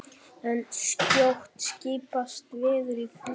en skjótt skipast veður í lofti!